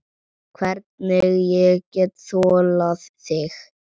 Hvernig ég get þolað þig?